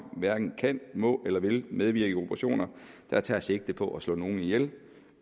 hverken kan må eller vil medvirke i operationer der tager sigte på at slå nogen ihjel